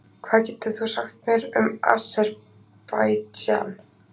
hvað getur þú sagt mér um aserbaídsjan